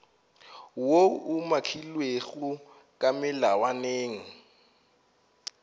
woo o umakilwego ka melawaneng